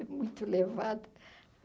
É muito levado.